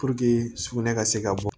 sugunɛ ka se ka bɔ